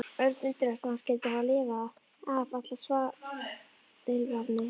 Örn undraðist að hann skyldi hafa lifað af allar svaðilfarirnar.